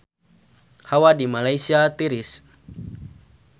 Hawa di Malaysia tiris